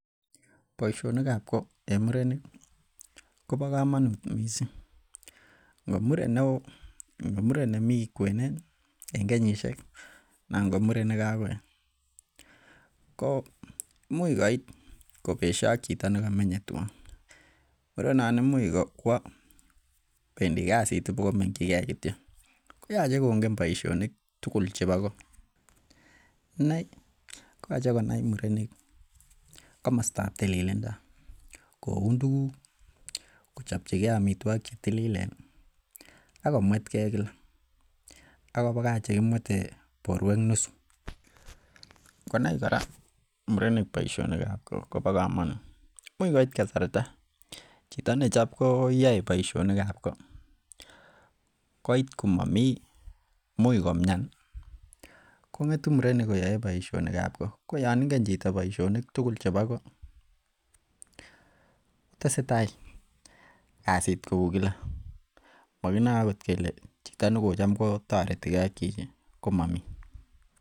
Boishonikab ko en murenik kobokomonut mising, ng'omuren neoo, ng'omuren nemii kwenet en kenyishek anan ko muren nekokoet ko imuch koit kobesho ak chito nekomenye twaan, konon imuch kwoo kwendi kasit kwokomengyike kityo koyoche kong'e boishonik tukul chebo koo, ineii koyoche konai murenik komostab tililindo, koun tukuk, kochopchike amitwokik chetililen ak komwetke kila ak kobakach chekimwete borto nusu, konai kora murenik boishonikab koot kobo komonut, imuch koit kasarta chito ne chep koyoi boishonikab koot, koit komomii imuch komian kong'etu murenik koyoe boishonikab koot, ko yoon ing'en chito boishonik tukul chebo koot, tesetai kasit kouu kila mokinoe okot kelee chito nekotam kotoretike ak chichi komomii.